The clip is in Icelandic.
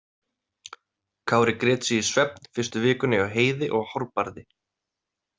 Kári grét sig í svefn fyrstu vikuna hjá Heiði og Hárbarði.